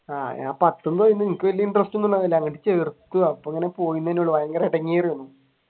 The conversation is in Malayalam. ആഹ് ഞാൻ പത്തു പോയി എനിക്ക് വലിയ interest ഒന്നുമുണ്ടായില്ല ചേർത്തു അപ്പൊ ഇങ്ങനെ പോയന്നല്ലേയുള്ളു ഭയങ്കര ഇടങ്ങേറായിരുന്നു.